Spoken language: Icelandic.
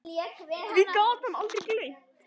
Því gat hann aldrei gleymt.